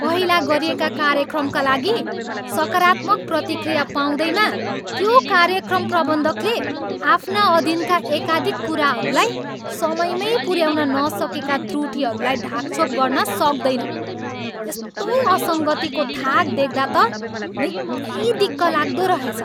पहिला गरिएका कार्यक्रमका लागि सकारात्मक प्रतिक्रिया पाउँदैमा त्यो कार्यक्रम प्रबन्धकले आफ्ना अधीनका एकाधिक कुराहरूलाई समयमै पुऱ्याउन नसकेका त्रुटीहरूलाई ढाकछोप गर्न सक्दैन। यस्तो असङ्गतिको थाक देख्दा त निकै दिक्क लाग्दो रहेछ।